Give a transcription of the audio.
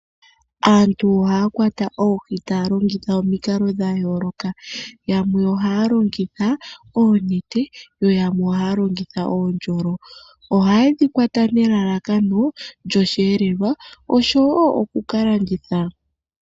Aantu ohaya kwata oohi taya longitha omikalo dha yooloka. Yamwe ohaya longitha oonete yo yamwe ohaya longitha oondjolo. Ohaye dhi kwata nelalakano lyosheelelwa osho wo oku ka landitha.